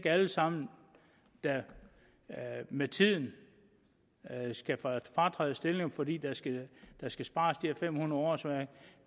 alle sammen der med tiden skal fratræde stillinger fordi der skal skal spares de her fem hundrede årsværk